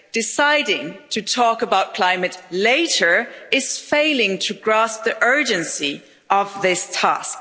Deciding to talk about climate later is failing to grasp the urgency of this task.